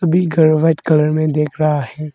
ये घर white colour में दिख रहा है।